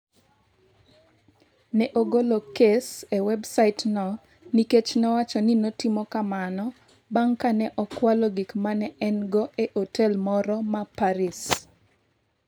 Ne ogolo kes e websaitno nikech nowacho ni notimo kamano bang’ ka ne okwalo gik ma ne en-go e otel moro ma Paris.